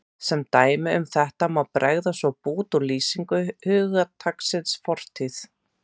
Sem dæmi um þetta má bregða upp bút úr lýsingu hugtaksins fortíð